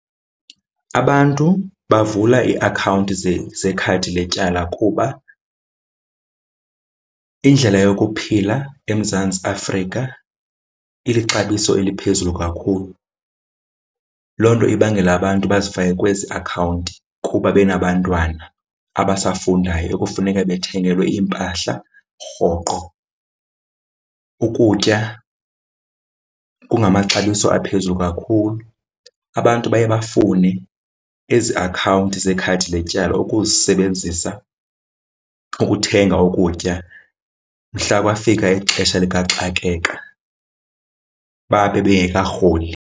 Abantu bavula iiakhawunti zekhadi letyala kuba indlela yokuphila eMzantsi Afrika ilixabiso eliphezulu kakhulu. Loo nto ibangela abantu bazifake kwezi akhawunti kuba benabantwana abasafundayo ekufuneka bethengelwe iimpahla rhoqo. Ukutya kungamaxabiso aphezulu kakhulu, abantu baye bafune ezi akhawunti zekhadi letyala ukuzisebenzisa ukuthenga ukutya mhla kwafika ixesha likaxakeka babe bengekarholi.